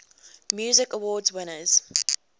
music awards winners